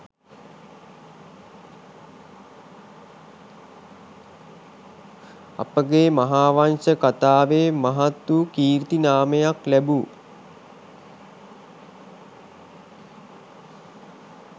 අපගේ මහාවංශ කතාවේ මහත් වූ කීර්ති නාමයක් ලැබූ